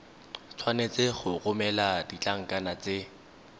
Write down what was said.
tshwanetse go romela ditlankana tse